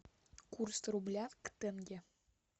курс рубля к тенге